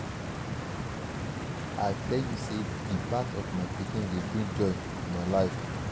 i tell you sey di birth of my pikin dey bring joy to my family.